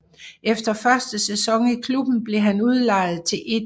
Efter første sæson i klubben blev han udlejet til 1